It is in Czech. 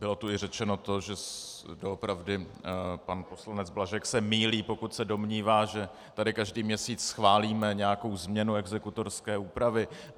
Bylo tu i řečeno to, že doopravdy pan poslanec Blažek se mýlí, pokud se domnívá, že tady každý měsíc schválíme nějakou změnu exekutorské úpravy.